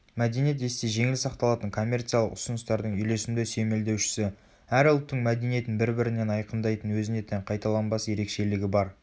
мәдениет есте жеңіл сақталатын коммерциялық ұсыныстардың үйлесімді сүйемелдеушісі.әр ұлттың мәдениетін бір бірінен айқындайтын өзіне тән қайталанбас ерекшелігі бар